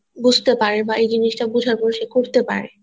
বুঝতে পারে বা বুঝার পর এটা করতে পারে